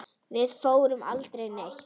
Við fórum aldrei neitt.